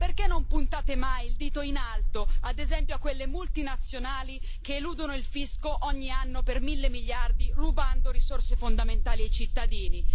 Ma perché non puntate mai il dito in alto, ad esempio a quelle multinazionali che eludono il fisco ogni anno per mille miliardi, rubando risorse fondamentali ai cittadini?